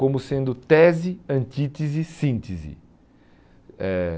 como sendo tese, antítese, síntese. Eh